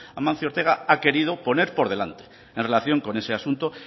amancio ortega ha querido poner por delante en relación con ese asunto